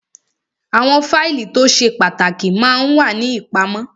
Àwọn fáìlì tó ṣe pàtàkì ma ń wà ní ìpamọ́